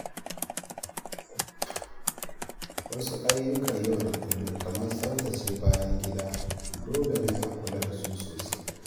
Wasu ayyukan yau da kullum kamar tsaftace bayan gida dole ne a kula da su sosai.